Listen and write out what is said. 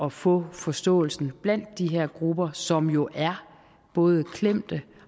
at få forståelsen blandt de her grupper som jo er både klemte